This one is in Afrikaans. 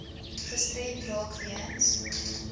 gestremd raak weens